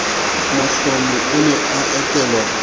mohlomi o ne a etelwe